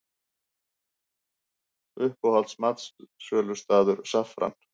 Uppáhalds matsölustaður: Saffran